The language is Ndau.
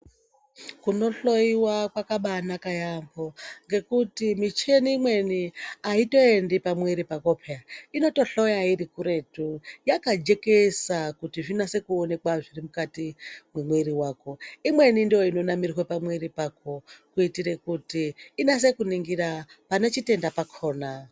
Kunohloyiwa kwakabaanaka yaamho nekuti micheni imweni ayitoendi pamwiri pako peya inotohloya iri kuretu yakajekesa kuti zvinase kuonekwa zviri mukati memwiri wako imweni ndooinonamirwa pamwiri pako kuitira kuti inase kuningira pane chitenda chakona.